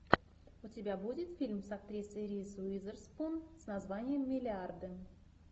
у тебя будет фильм с актрисой риз уизерспун с названием миллиарды